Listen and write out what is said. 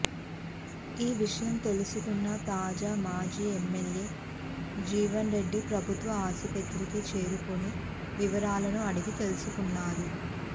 ఈ విషయం తెలసుకున్న తాజా మాజీ ఎమ్మెల్యే జీవన్రెడ్డి ప్రభుత్వ ఆసుపత్రికి చేరుకొని వివరాలను అడిగి తెలుసుకున్నారు